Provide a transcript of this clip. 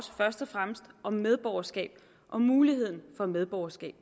fremmest om medborgerskab og muligheden for medborgerskab